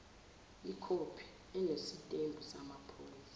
ikhophi enesitembu samaphoyisa